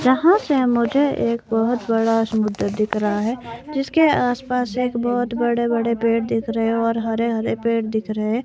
यहां से मुझे एक बहुत बड़ा समुद्र दिख रहा है जिसके आस पास एक बहुत बड़े बड़े पेड़ दिख रहे और हरे हरे पेड़ दिख रहे है।